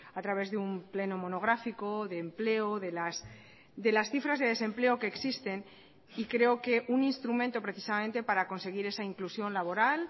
a través de un pleno monográfico de empleo de las cifras de desempleo que existen y creo que un instrumento precisamente para conseguir esa inclusión laboral